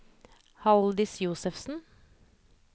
Haldis Josefsen